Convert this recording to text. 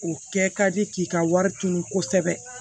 O kɛ ka di k'i ka wari tunu kosɛbɛ